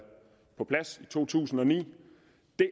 på plads i to tusind og ni